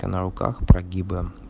а на руках прогибы